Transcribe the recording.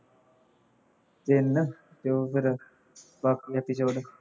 ਤਿੰਨ ਉਹ ਫੇਰ ਬਾਕੀ episode